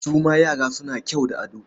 Su ma yara suna kyau da ado?